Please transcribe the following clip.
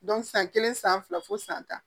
san kelen san fila fo san tan